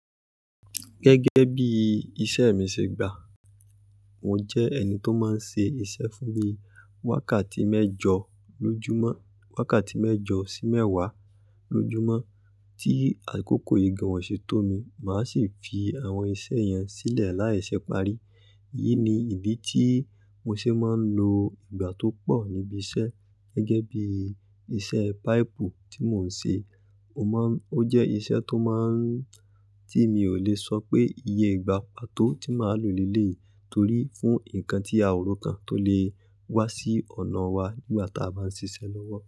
Gẹ́gẹ́ bí iṣẹ́ mi ṣe gbà, mo jẹ́ ẹni tó máa ń ṣe iṣẹ́ fún bí wakati wákàtí mẹ́jọ sí mẹ́wàá lójúmọ́. Tí àkókò yi gan oo ṣe tó mi, màá sì fi àwọn iṣẹ́ yẹn sílẹ̀ láìṣẹ́ parí. Èyí ni ìdí tí mo ṣe máa ń lo ìgbà tó pọ̀ níbí iṣẹ́. Gẹ́gẹ́ bí iṣẹ́ páìpù tí mò ń ṣe, ó jẹ́ iṣẹ́ tó má ń tí mi ò lè sọ pé iye ìgbà pa tó tí màá lò léleyi torí fún nǹkan tí a ò rò kàn tó lè wá sí ọ̀nà wa nígbà tí a bá ń ṣiṣẹ́ lọ́wọ́.